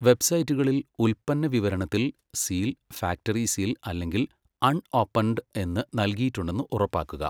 വെബ്സൈറ്റുകളിൽ, ഉൽപ്പന്ന വിവരണത്തിൽ seal, factory seal അല്ലെങ്കിൽ അൺഓപ്പൺഡ് എന്ന് നല്കിയിട്ടുണ്ടെന്ന് ഉറപ്പാക്കുക.